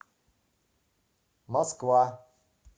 москва